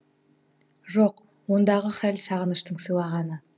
жоқ ондағы хәл сағыныштың сыйлағаны